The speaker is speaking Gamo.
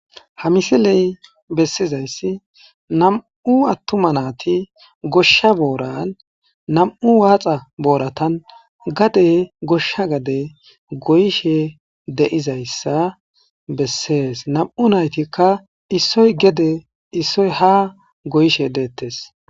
Ha missiley bessizay nam"u atuma nati goshsha boran gade goyishshe dizayissa besses nam"u natikka gedenne ha goyishshe dettes